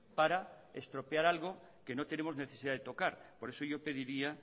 para estropear algo que no tenemos necesidad de tocar por eso yo pediría